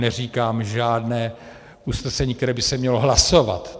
Neříkám žádné usnesení, které by se mělo hlasovat.